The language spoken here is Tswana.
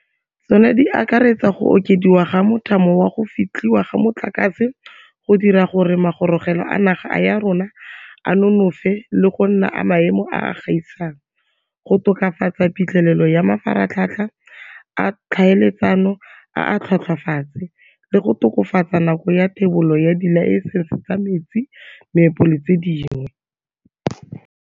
Tsona di akaretsa go okediwa ga mothamo wa go fetlhiwa ga motlakase, go dira gore magorogelo a naga ya rona a nonofe le go nna a maemo a a gaisang, go tokafatsa phitlhelelo ya mafaratlhatlha a tlhaeletsano a a tlhwatlhwatlase, le go tokafatsa nako ya thebolo ya dilaesense tsa metsi, meepo le tse dingwe.